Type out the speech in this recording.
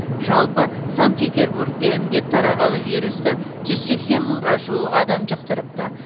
жалпы санкт петербургте індет тарағалы вирусты жүз сексен мыңға жуық адам жұқтырыпты